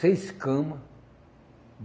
Seis cama.